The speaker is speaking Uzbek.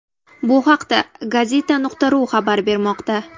Bu haqda Gazeta.ru xabar bermoqda .